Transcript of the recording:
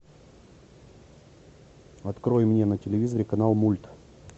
открой мне на телевизоре канал мульт